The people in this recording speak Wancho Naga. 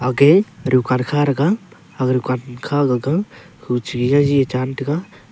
agey dukan kha thega agey dukan s kha gaga khu che gi jahi ye chan tega.